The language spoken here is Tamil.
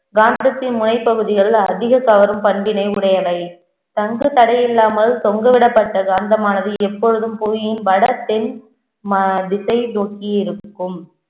காந்தத்தின் முனைப்பகுதிகள் அதிகம் கவரும் பண்பினை உடையவை தங்கு தடையில்லாமல் தொங்கவிடப்பட்ட காந்தமானது எப்பொழுதும் புவியின் வட தென் ம~ திசை நோக்கி இருக்கும்